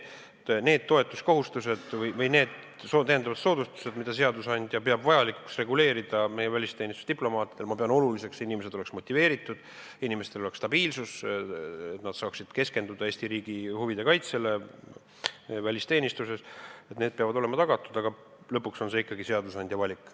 Need lisasoodustused, mida seadusandja peab meie välisteenistuse diplomaatidele vajalikuks – ma pean oluliseks, et inimesed oleks motiveeritud, inimestel oleks stabiilsus, et nad saaksid keskenduda Eesti riigi huvide kaitsele meie välisteenistuses –, peavad olema tagatud, aga lõpuks on see ikkagi seadusandja valik.